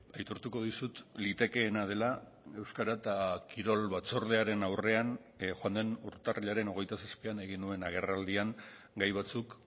aitortuko dizut litekeena dela euskara eta kirol batzordearen aurrean joan den urtarrilaren hogeita zazpian egin nuen agerraldian gai batzuk